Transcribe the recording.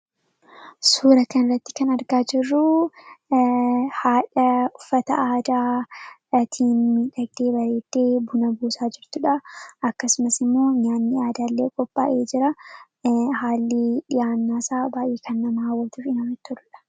Suura kana irratti kan argaa jirruu haadha uffata aadaatiin miidhagdee bareeddee buna buusaa jirtuudha. Akkasumas immoo nyaanni aadaalee qophaa'ee jira.